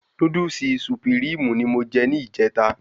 Núdúsì Sùpìríìmù ni mo je ní ìjèta